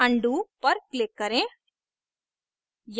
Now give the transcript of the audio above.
undo पर click करें